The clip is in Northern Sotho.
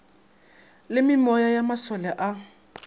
la meoya ya masole a